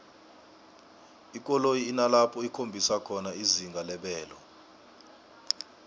ikoloyi inalapho ikhombisa khona izinga lebelo